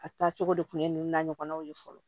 A taa cogo de kun ye ninnu na ɲɔgɔnnaw ye fɔlɔ